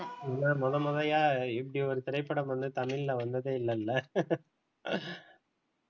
இல்ல முத முதயா இப்படி ஒரு திரைப்படம் வந்து தமிழ்ல வந்ததே இல்லல்ல